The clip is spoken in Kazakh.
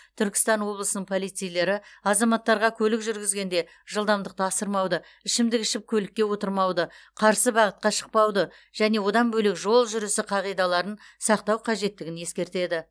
түркістан облысының полицейлері азаматтарға көлік жүргізгенде жылдамдықты асырмауды ішімдік ішіп көлікке отырмауды қарсы бағытқа шықпауды және одан бөлек жол жүрісі қағидаларын сақтау қажеттігін ескертеді